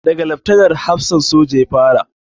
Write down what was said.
Da ga Laftanar hafsan soja ya fara